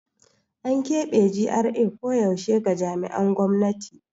An kebe GRA koyaushe ga jami'an gwamnati.